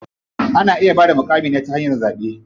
Ana iya bada muƙamin ne ta hanyar zaɓe.